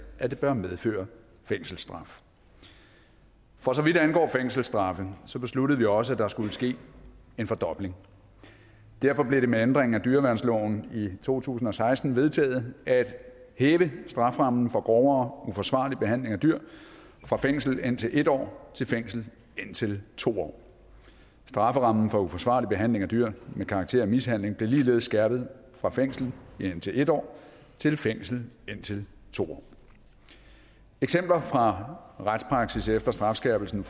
at det bør medføre fængselsstraf for så vidt angår fængselsstraffe besluttede vi også at der skulle ske en fordobling derfor blev det med ændringen af dyreværnsloven i to tusind og seksten vedtaget at hæve strafferammen for grovere uforsvarlig behandling af dyr fra fængsel indtil en år til fængsel indtil to år strafferammen for uforsvarlig behandling af dyr med karakter af mishandling blev ligeledes skærpet fra fængsel indtil en år til fængsel indtil to år eksempler fra retspraksis efter strafskærpelsen